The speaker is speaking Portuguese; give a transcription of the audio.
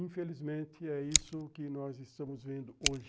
Infelizmente, é isso que nós estamos vendo hoje.